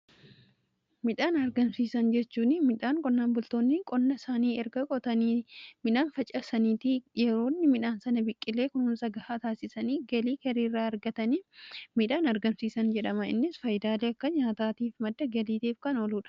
Midhaan argamsiisan jechuun midhaan qonnaan bultoonni qonna isaanii erga qotanii midhaan facasaniitii yeroo inni midhaan sana biqilee kunuunsa gahaa taasisanii galii irraa argatan midhaan argamsiisan jedhama. Innis faayidaalee akka nyaataa fi madda galiitiif kan ooluudha.